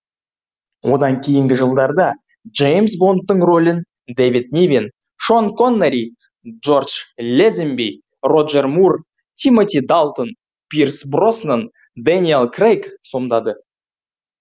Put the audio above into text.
одан кейінгі жылдарда джеймс бондтың ролін дэвид нивен шон коннери джордж лэзенби роджер мур тимоти далтон пирс броснан дэниел крейг сомдады